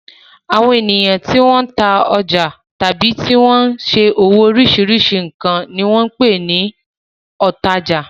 Àwọn ènìyàn tí wọ́n ń tajà tàbí tí wọ́n ṣe òwò oríṣiríṣi nǹkan ni wọ́n ń pè ní òǹtajà.